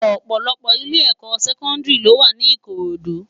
Òpòlòpò ilé èkò sèkòdìrí ló wá ni Ikorodu